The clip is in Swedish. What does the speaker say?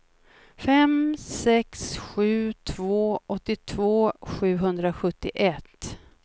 fem sex sju två åttiotvå sjuhundrasjuttioett